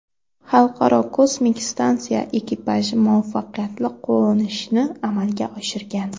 Xalqaro kosmik stansiya ekipaji muvaffaqiyatli qo‘nishni amalga oshirgan.